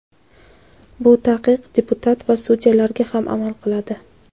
Bu taqiq deputat va sudyalarga ham amal qiladi.